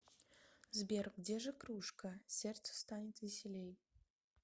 сбер где же кружка сердцу станет веселей